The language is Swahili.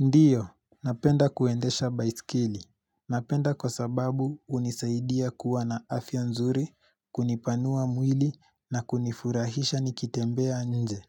Ndiyo, napenda kuendesha baisikeli Napenda kwa sababu hunisaidia kuwa na afya nzuri, kunipanua mwili na kunifurahisha nikitembea nje.